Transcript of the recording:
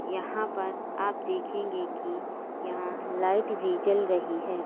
यहां पर आप देखेंगे कि यहां लाइट भी जल रही है।